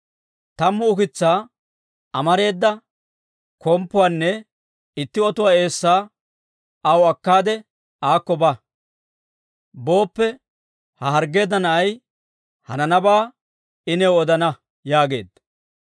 Tammu ukitsaa, amareeda komppuwaanne itti otuwaa eessaa aw akkaade aakko ba. Booppe ha harggeedda na'ay hananabaa I new odana» yaageedda.